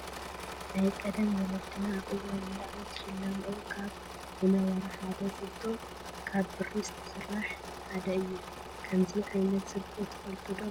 ናይ ቀደም ወለድና አብ እዋን መርዓ ዝሸለመኦ ካብ ዝነበራ ሐደ ዝብጦ ከብ ብሪ ዝሰራሕ ሐደ እዮ ።ከምዚ ዓይነት ዝብጦ ትፈፈልጥ ዶ?